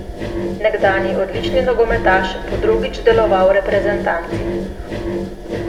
Nekdanji odlični nogometaš bo drugič deloval v reprezentanci.